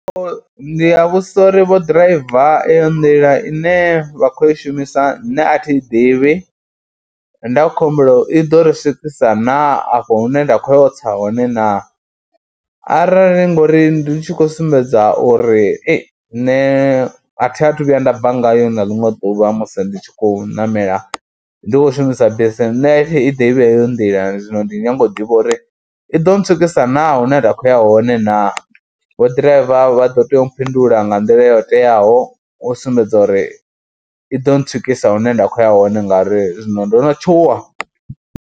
Ndi a vhudzisa uri vho ḓiraiva eyo nḓila ine vha khou i shumisa nṋe a thi i ḓivhi, nda khou humbela, i ḓo riswikisa na afho hune nda khou ya u tsa hone naa arali ngori ndi tshi khou sumbedza uri ei nṋe a thathu vhuya nda bva ngayo na ḽiṅwe ḓuvha musi ndi tshi khou ṋamela ndi khou shumisa bisi, nṋe thi i ḓivhi heyo nḓila zwino ndi khou nyaga u ḓivha uri i ḓo ntswikisa naa hune nda khou ya hone naa, vho ḓiraiva vha ḓo tea u mphindula nga nḓila yo teaho u sumbedza uri i ḓo ntswikisa hune nda khou ya hone ngauri zwino ndo tshuwa.